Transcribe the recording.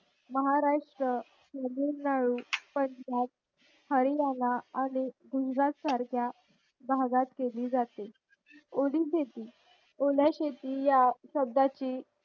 महाराष्ट्र तामिळनाडू पंजाब हरयाणा आणि गुजरात सारख्या बघत केली जाते ओली शेती ओली शेती या शब्दाची